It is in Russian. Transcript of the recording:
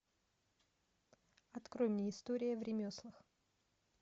открой мне история в ремеслах